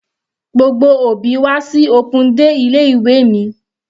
Gbogbo òbí wá sí open day ilé ìwé mi.